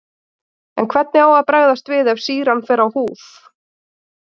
En hvernig á að bregðast við ef sýran fer á húð?